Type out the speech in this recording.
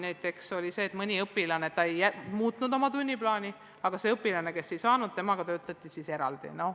Näiteks mõni õpilane ei muutnud oma tunniplaani, aga mõni teine õpilane, kes ei saanud osaleda, temaga töötati eraldi.